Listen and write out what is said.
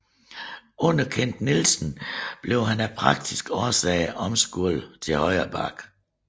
Under Kent Nielsen blev han af praktiske årsager omskolet til højre back